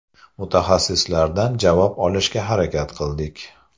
Mutaxassislardan javob olishga harakat qildik.